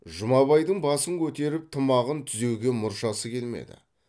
жұмабайдың басын көтеріп тымағын түзеуге мұршасы келмеді